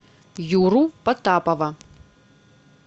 юру потапова